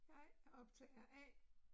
Jeg er optager A